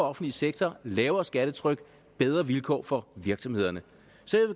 offentlig sektor lavere skattetryk og bedre vilkår for virksomhederne så